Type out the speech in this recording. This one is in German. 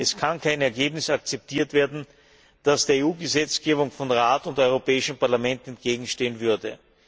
Es kann kein Ergebnis akzeptiert werden, das der EU Gesetzgebung von Rat und Europäischem Parlament entgegenstehen würde.